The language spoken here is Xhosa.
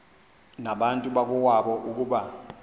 nabantu bakowabo ukuba